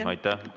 Aitäh!